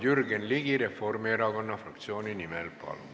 Jürgen Ligi Reformierakonna fraktsiooni nimel, palun!